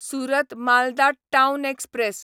Surat Malda town express